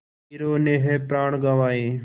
वीरों ने है प्राण गँवाए